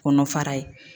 Kɔnɔ fara ye